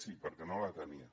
sí perquè no la tenien